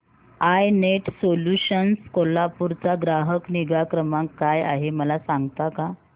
I net solutions Kolhapur चा ग्राहक निगा क्रमांक काय आहे मला सांगता का